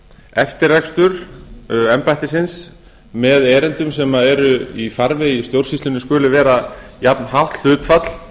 eftirrekstur embættisins með erindum sem eru í farvegi stjórnsýslunnar skuli vera jafnhátt hlutfall